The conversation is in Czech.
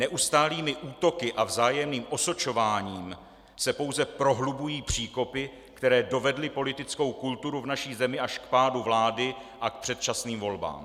Neustálými útoky a vzájemným osočováním se pouze prohlubují příkopy, které dovedly politickou kulturu v naší zemi až k pádu vlády a k předčasným volbám.